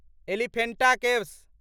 Elephanta caves